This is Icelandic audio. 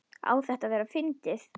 Á þetta að vera fyndið?